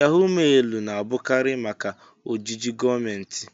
Yahó mailu na-abụkarị maka ojiji gọọmentị